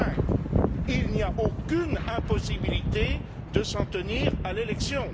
5. Il n'y a aucune impossibilité de s'en tenir à l'élection.